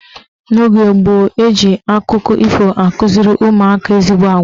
N'oge gboo, eji akụkọ ifo akụziri ụmụaka ezigbo agwa.